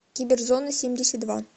киберзонасемьдесятдва